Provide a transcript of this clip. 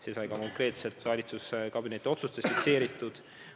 See sai ka konkreetselt valitsuskabineti otsustes fikseeritud.